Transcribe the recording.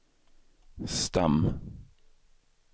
stam